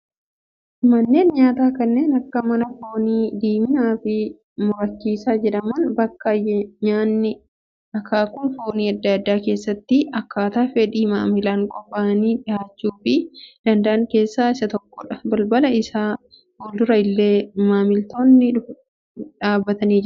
Manneen nyaataa kanneen akka mana foonii diiminaa fi murachiisa jedhaman, bakka nyaanni akkaakuun foonii addaa addaa keessatti akkaataa fedhii maamilaan qophaa'anii dhihaachuufii danda'an keessaa isa tokko dha. Balbala isaa fuldura illee maamiltoonni dhufaniitu kan jiran.